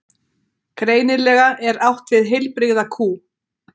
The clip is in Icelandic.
greinilega er átt við heilbrigða kú